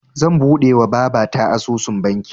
Zan buɗewa babata asusun banki